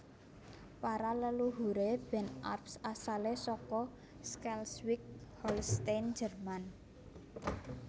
Para leluhuré Ben Arps asalé saka Schleswig Holstein Jèrman